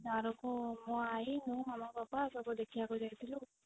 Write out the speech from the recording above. ଦାରୁକୁ ମୋ ଆଈ ମୁଁ ମାମା ପାପା ସବୁ ଦେଖିବାକୁ ଯାଇଥିଲୁ